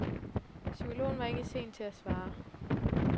Psykologen var ikke sen til at svare.